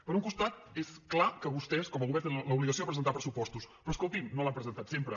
per un costat és clar que vostès com a govern trenen l’obligació de presentar pressupostos però escolti’m no l’han presentat sempre